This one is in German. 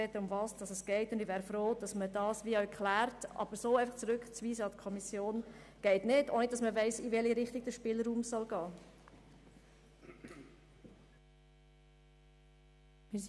Allerdings geht es nicht, dies einfach so an die Kommission zurückzuweisen, ohne dass man weiss, in welche Richtung der Spielraum gehen soll.